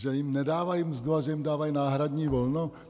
Že jim nedávají mzdu, ale že jim dávají náhradní volno?